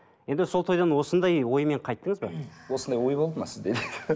енді сол тойдан осындай оймен қайттыңыз ба осындай ой болды ма сізде